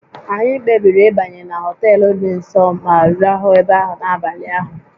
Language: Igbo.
Anyị kpebiri ịbanye na họtel dị nso ma rahụ ebe ahụ n'abalị ahụ